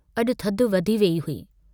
अजु थधि वधी वेई हुई।